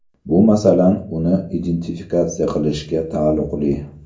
Bu, masalan, uni identifikatsiya qilishga taalluqli.